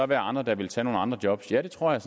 være andre der ville tage nogle andre job det tror jeg